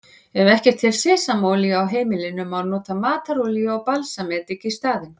Ef ekki er til sesamolía á heimilinu má nota matarolíu og balsamedik í staðinn.